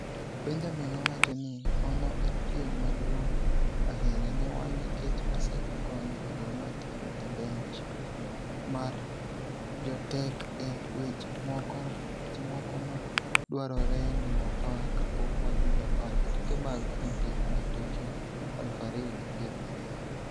Benjamin nowachoni, "Ono en piem maduong' ahinya ne wan nikech osekonyo joma tiyo e bench mar jotek e weche moko ma dwarore ni wapar kapok wadhi Japan e tuke mag Olimpik ma Tokyo aluf ariyo gi piero ariyo".